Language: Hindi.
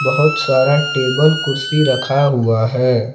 बहुत सारा टेबल कुर्सी रखा हुआ है।